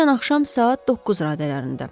Dünən axşam saat 9 radələrində.